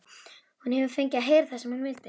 Hún hefur fengið að heyra það sem hún vildi.